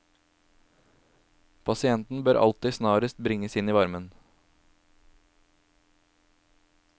Pasienten bør alltid snarest bringes inn i varme.